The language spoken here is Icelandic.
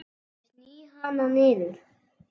Ég sný hana niður.